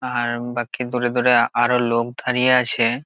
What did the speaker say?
আর বাকি দূরে দূরে আরো লোক দাঁড়িয়ে আছে।